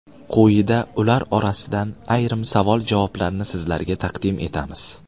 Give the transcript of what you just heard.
Quyida ular orasidan ayrim savol-javoblarni sizlarga taqdim etamiz.